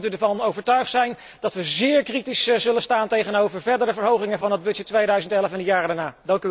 Dan kunt u ervan overtuigd zijn dat we zeer kritisch zullen staan tegenover verdere verhogingen van de begroting 2011 en de jaren daarna.